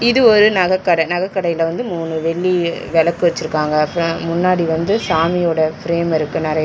இது ஒரு நகக்கட நகக்கடையில வந்து மூணு வெள்ளி வெளக்கு வச்சிருக்காங்க அப்றோ முன்னாடி வந்து சாமியோட ஃபிரேம் இருக்கு நெறைய.